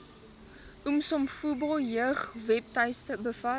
umsobomvu jeugwebtuiste bevat